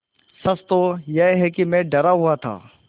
सच तो यह है कि मैं डरा हुआ था